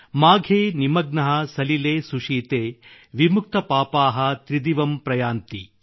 ಮಾಘೆ ನಿಮಗ್ನಃ ಸಲಿಲೆ ಸುಶೀತೆ ವಿಮುಕ್ತಪಾಪಾಃ ತ್ರಿದಿವಮ್ ಪ್ರಯಾಂತಿ